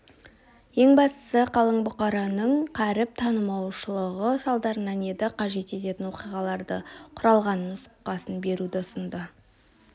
ең бастысы қалың бұқараның қаріп танымаушылығы салдарынан еді қажет ететін оқиғалардан құралған нұсқасын беруді ұсынды